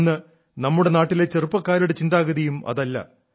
ഇന്ന് നമ്മുടെ നാട്ടിലെ ചെറുപ്പക്കാരുടെ ചിന്താഗതിയും അതല്ല